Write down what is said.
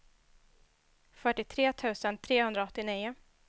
fyrtiotre tusen trehundraåttionio